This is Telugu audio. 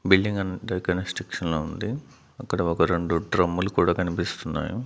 బిల్డింగ్ అనటయితే కన్స్ట్రక్షన్లో ఉంది అక్కడ ఒక రెండు డ్రమ్ములు కూడా కనిపిస్తున్నాయి.